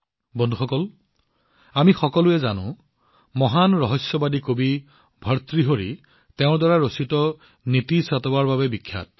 বন্ধুসকল আমি সকলোৱে মহান ঋষি কবি ভাৰতৃহাৰীক তেওঁৰ নীতি শতকৰ বাবে জানো